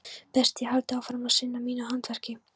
Best ég haldi áfram að sinna mínu handverki.